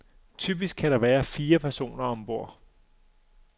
Typisk kan der være fire personer om bord.